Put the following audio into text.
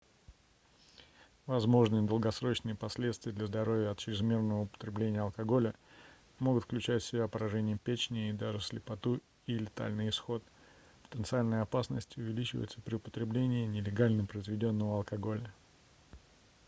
возможные долгосрочные последствия для здоровья от чрезмерного употребления алкоголя могут включать в себя поражение печени и даже слепоту и летальный исход потенциальная опасность увеличивается при употреблении нелегально произведённого алкоголя